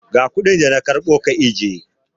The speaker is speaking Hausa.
Ga kuɗin da na karɓo ka ajiye!